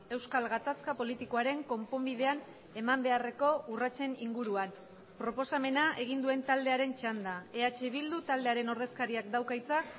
euskal gatazka politikoaren konponbidean eman beharreko urratsen inguruan proposamena egin duen taldearen txanda eh bildu taldearen ordezkariak dauka hitza